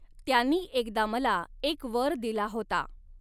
त्यांनी एकदा मला एक वर दिला होता.